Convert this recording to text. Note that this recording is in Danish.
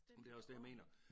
Men det er også det jeg mener